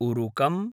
उरुकम्